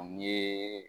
O ye